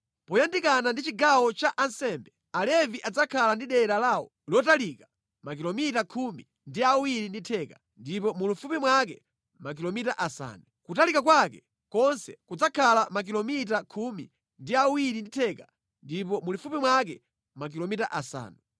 “Moyandikana ndi chigawo cha ansembe, Alevi adzakhala ndi dera lawo lotalika makilomita khumi ndi awiri ndi theka, ndipo mulifupi mwake makilomita asanu. Kutalika kwake konse kudzakhala makilomita khumi ndi awiri ndi theka ndipo mulifupi mwake makilomita asanu.